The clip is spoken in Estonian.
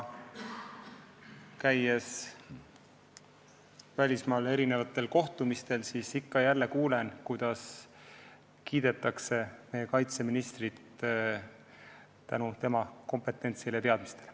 Välismaal erinevatel kohtumistel olles ma ikka ja jälle kuulen, kuidas kiidetakse meie kaitseministrit, tema kompetentsi ja teadmisi.